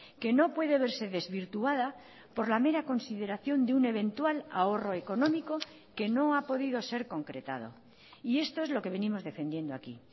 que no puede verse desvirtuada por la mera consideración de un eventual ahorro económico que no ha podido ser concretado y esto es lo que venimos defendiendo aquí